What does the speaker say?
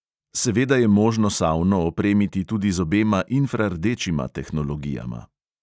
Seveda je možno savno opremiti tudi z obema infrardečima tehnologijama.